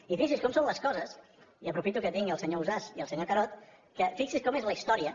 i fixin se com són les coses i aprofito que tinc el senyor ausàs i el senyor carod fixin se com és la història